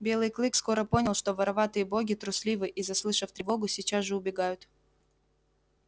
белый клык скоро понял что вороватые боги трусливы и заслышав тревогу сейчас же убегают